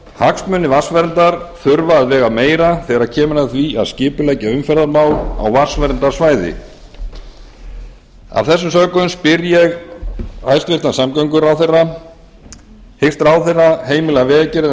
hagsmunir vatnsverndar þurfa að vega meira þegar kemur að því að skipuleggja umferðarmál á vatnsverndarsvæði að þessu sögðu spyr ég hæstvirtan samgönguráðherra fyrsta hyggst ráðherra heimila vegagerðinni að